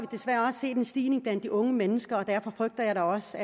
desværre også set en stigning blandt unge mennesker og derfor frygter jeg da også